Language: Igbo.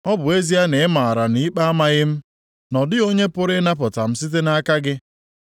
Ọ bụ ezie na ị maara na ikpe amaghị m, na ọ dịghị onye pụrụ ịnapụta m site nʼaka gị.